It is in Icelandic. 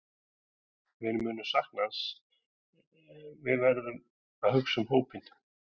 Við munum sakna hans en við verðum að hugsa um hópinn.